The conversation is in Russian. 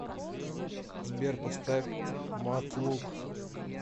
сбер поставь матлук